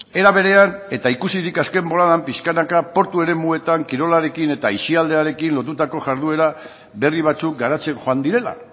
era berean eta ikusi dut azken boladan pixkanaka portu eremuetan kirolarekin eta aisialdiarekin lotutako jarduera berri batzuk garatzen joan direla